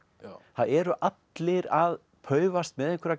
það eru allir að paufast með einhverja